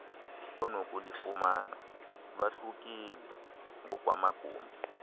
onokulufumana lwahlukile ngokwamagumbi